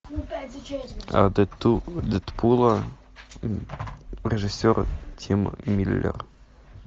дэдпула режиссер тим миллер